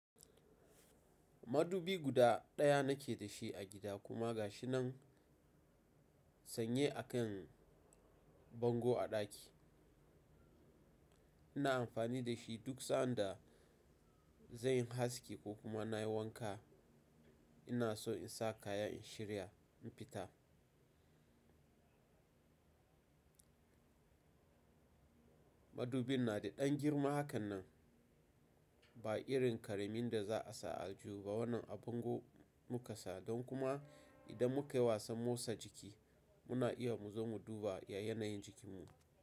Madubi guda ɗaya nake da shi a gida kuma gashi nan sanye a kan bango a ɗaki. Ina amfani da shi duk sanda zanyi haski ko kuma nayi wanka. Ina so in sa kaya in shirya in fita. Madubin na da ɗan girma hakan nan, ba irin karamin da za a sa al jihuba. Wannan a bango muka sa don kuma idan mukayi wasan motsa jiki muna iya mu zo mu duba ya yanayin jikinmu.